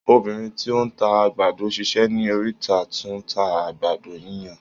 Obìnrín tí ó ń ta àgbàdo sísè ní oríta tún ń ta àgbàdo yíyan.